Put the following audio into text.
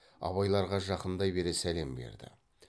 абайларға жақындай бере сәлем берді